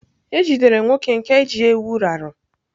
E jidere nwoke nke ji ewu raru.